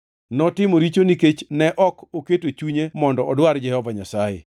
Notimo richo nikech ne ok oketo chunye mondo odwar Jehova Nyasaye.